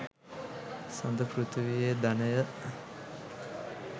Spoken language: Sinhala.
සඳ පෘථීවියේ ධනය